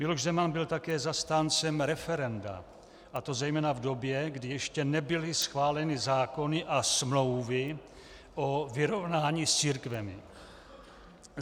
Miloš Zeman byl také zastáncem referenda, a to zejména v době, kdy ještě nebyly schváleny zákony a smlouvy o vyrovnání s církvemi.